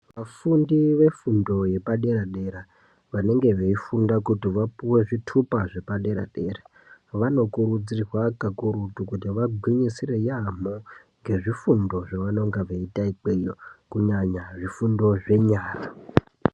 Vafundi vefundo yepadera-dera, vanenge veifunda kuti vapuwe zvitupa zvepadera-dera, vanokurudzirwa kakurutu kuti vagwinyisire yaamho ngezvifundo zvevanenge veiita ikweyo kunyanya zvifundo zvenyara.